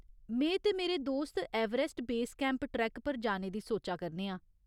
में ते मेरे दोस्त एवरेस्ट बेस कैंप ट्रैक्क पर जाने दी सोचा करने आं।